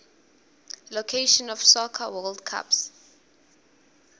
location of soccer world cups